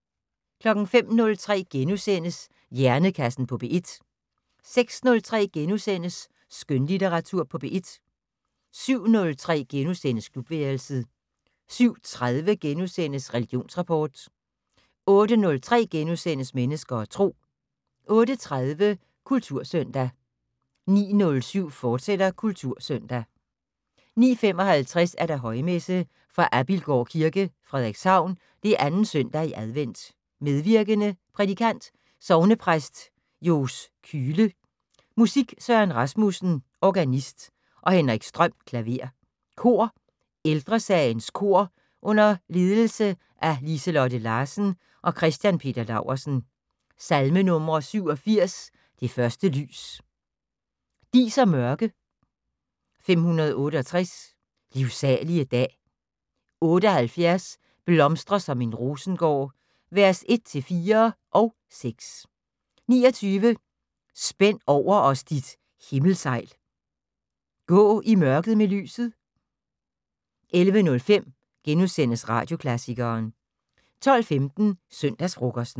05:03: Hjernekassen på P1 * 06:03: Skønlitteratur på P1 * 07:03: Klubværelset * 07:30: Religionsrapport * 08:03: Mennesker og Tro * 08:30: Kultursøndag 09:07: Kultursøndag, fortsat 09:55: Højmesse - Fra Abilgård Kirke, Frederikshavn. 2. søndag i advent. Medvirkende: Prædikant: Sognepræst Johs Kühle. Musik: Søren Rasmussen (organist) og Henrik Strøm (klaver). Kor: Ældresagens kor under ledes af Liselotte Larsen og Christian Peter Laursen. Salmenumre: 87: "Det første lys". "Dis og mørke". 568: "Livsalige dag". 78: "Blomstre som en Rosengård" (vers 1-4 + 6). 29: "Spænd over os dit Himmelsejl". "Gå i mørket med lyset". 11:05: Radioklassikeren * 12:15: Søndagsfrokosten